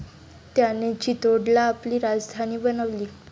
त्याने चित्तोडला आपली राजधानी बनवली.